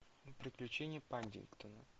приключения паддингтона